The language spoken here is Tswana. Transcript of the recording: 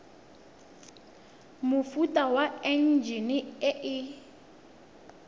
mofuta wa enjine e e